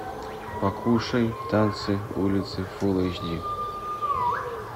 покушай танцы улицы фулл эйч ди